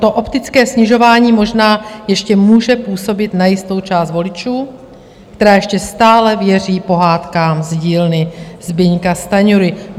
To optické snižování možná ještě může působit na jistou část voličů, která ještě stále věří pohádkám z dílny Zbyňka Stanjury.